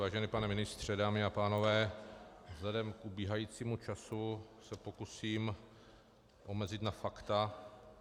Vážený pane ministře, dámy a pánové, vzhledem k ubíhajícímu času se pokusím omezit na fakta.